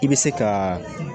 I bɛ se ka